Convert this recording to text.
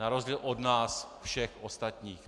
Na rozdíl od nás všech ostatních.